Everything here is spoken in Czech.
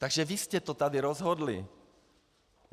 Takže vy jste to tady rozhodli.